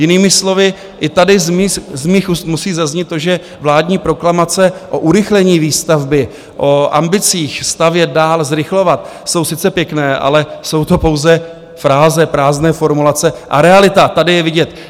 Jinými slovy, i tady z mých úst musí zaznít to, že vládní proklamace o urychlení výstavby, o ambicích stavět dál, zrychlovat, jsou sice pěkné, ale jsou to pouze fráze, prázdné formulace, a realita tady je vidět.